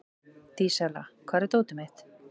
Dísella, hvar er dótið mitt?